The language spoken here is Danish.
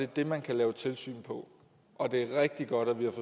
det man kan lave tilsyn på og det er rigtig godt at vi har